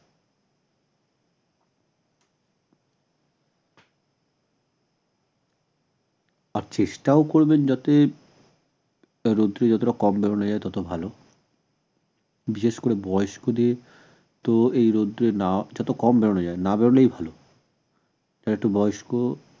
আর চেষ্টাও করবেন যাতে যত কম নেওয়া যায় তত ভাল বিশেষ করে বয়স্কদের তো এই রোদ্দুরে না যত কম বেরুনো যায় না বেরুলেই ভাল আর বয়স্ক